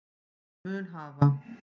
mun hafa